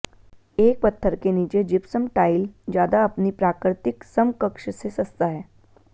एक पत्थर के नीचे जिप्सम टाइल ज्यादा अपनी प्राकृतिक समकक्ष से सस्ता है